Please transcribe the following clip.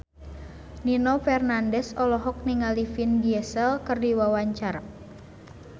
Nino Fernandez olohok ningali Vin Diesel keur diwawancara